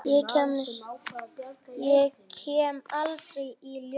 Ég kem aldrei í ljós.